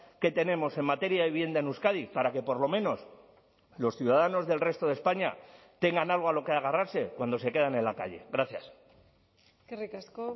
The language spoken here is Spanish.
que tenemos en materia de vivienda en euskadi para que por lo menos los ciudadanos del resto de españa tengan algo a lo que agarrarse cuando se quedan en la calle gracias eskerrik asko